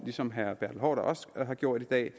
ligesom herre bertel haarder også har gjort i dag i